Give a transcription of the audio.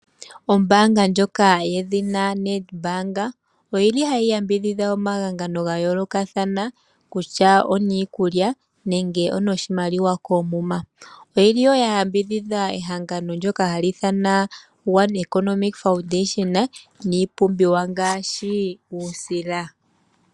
Ombaanga ndjoka yedhina NEDBANK oyili hayi yambidhidha omahangano ga yoolokathana kutya oniikulya nenge onoshimaliwa koomuma. Oyili wo ya yambidhidha ehangano ndoka hali ithanwa One Economy Foundation miipumbiwa ngaashi uusila.